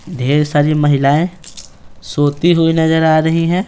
ढेर सारी महिलाएं सोती हुई नजर आ रही हैं।